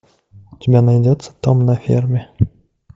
у тебя найдется том на ферме